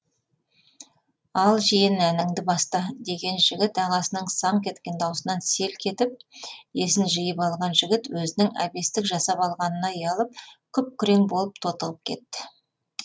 ал жиен әніңді баста деген жігіт ағасының саңқ еткен даусынан селк етіп есін жиып алған жігіт өзінің әбестік жасап алғанына ұялып күп күрең болып тотығып кетті